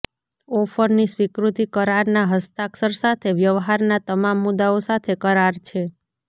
ઓફરની સ્વીકૃતિ કરારના હસ્તાક્ષર સાથે વ્યવહારના તમામ મુદ્દાઓ સાથે કરાર છે